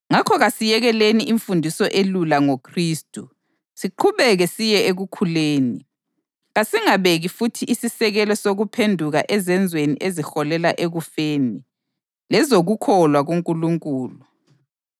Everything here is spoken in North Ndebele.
Ngakho kasiyekeleni imfundiso elula ngoKhristu siqhubeke siye ekukhuleni. Kasingasibeki futhi isisekelo sokuphenduka ezenzweni eziholela ekufeni, lezokukholwa kuNkulunkulu,